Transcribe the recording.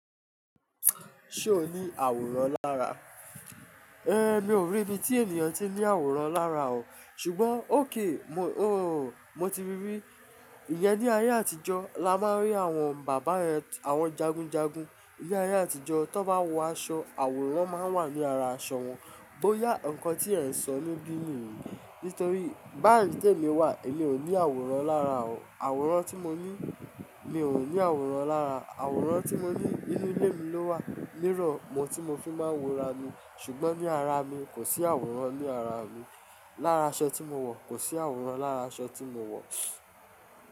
Ṣé o ní àwòrán lára? Mi ò rí ibi tí ènìyàn ti ní àwòrán lára o. Ṣùgbọ́n okay, mo, mo ti rí rí. Ìyẹn ní ayé àtijọ́ la máa ń rí àwọn bàbá yen, àwọn jagunjagun. Ní ayé àtijọ́, tí wọ́n bá wọ aṣọ, àwòrán wọn máa ń wà ní ara aṣọ wọn. Bóyá nnkan tí ẹ ń sọ níbí nìyí. Nítorí bayi ti emi wà, èmi ò ní àwòrán lára o. Àwòrán tí mo ní, mi ò ní àwòrán lára. Àwòrán tí mo ní nínú ilé mi ló wà. Mírọ̀ mo tí mo fi máa ń wo ara mi. Ṣùgbọ́n ní ara mi, kò sí àwòrán ní ara mi. Lára aṣọ tí mo wọ̀, kò sí àwòrán lára aṣọ tí mo wọ̀.